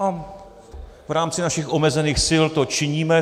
A v rámci našich omezených sil to činíme.